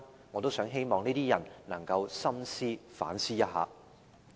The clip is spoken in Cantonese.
我希望這些人能夠深思和反思一下。